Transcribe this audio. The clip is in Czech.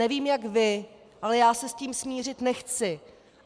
Nevím jak vy, ale já se s tím smířit nechci!